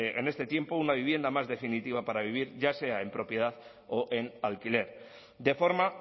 en este tiempo una vivienda más definitiva para vivir ya sea en propiedad o en alquiler de forma